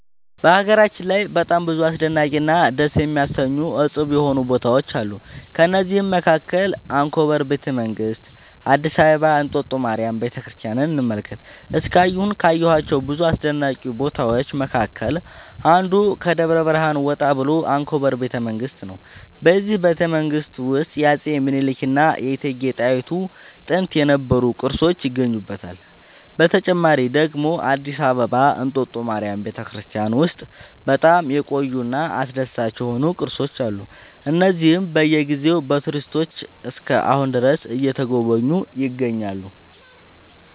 በሀገራችን ላይ በጣም ብዙ አስደናቂ እና ደስ የሚያሰኙ እፁብ የሆኑ ቦታዎች አሉ ከእነዚህም መካከል አንኮበር ቤተ መንግስት አዲስ አበባ እንጦጦ ማርያም ቤተክርስቲያንን እንመልከት እስካሁን ካየኋቸው ብዙ አስደናቂ ቦታዎች መካከል አንዱ ከደብረ ብርሃን ወጣ ብሎ አንኮበር ቤተ መንግስት ነው በዚህ ቤተመንግስት ውስጥ የአፄ ሚኒልክ እና የእቴጌ ጣይቱ ጥንት የነበሩ ቅርሶች ይገኙበታል። በተጨማሪ ደግሞ አዲስ አበባ እንጦጦ ማርያም ቤተክርስቲያን ውስጥ በጣም የቆዩ እና አስደሳች የሆኑ ቅርሶች አሉ እነዚህም በየ ጊዜው በቱሪስቶች እስከ አሁን ድረስ እየተጎበኙ ይገኛሉ